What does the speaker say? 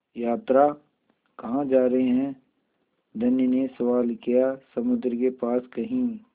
यात्रा कहाँ जा रहे हैं धनी ने सवाल किया समुद्र के पास कहीं